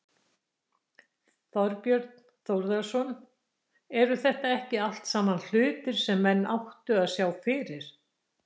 Þorbjörn Þórðarson: Eru þetta ekki allt saman hlutir sem menn áttu að sjá fyrir?